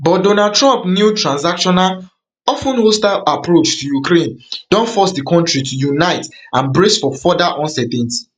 but donald trump new transactional of ten hostile approach to ukraine don force di kontri to unite and brace for further uncertainty